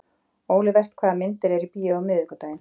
Olivert, hvaða myndir eru í bíó á miðvikudaginn?